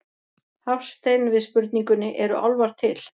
Hafstein við spurningunni Eru álfar til?